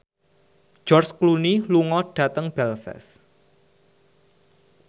George Clooney lunga dhateng Belfast